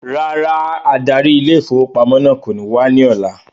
Rárá adarí ile-ìfowópamó náà kò ní wá ní ọ̀la